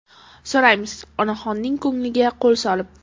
so‘raymiz onaxonning ko‘ngliga qo‘l solib.